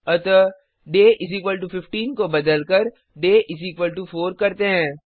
अतः डे 15 को बदलकर डे 4 करते हैं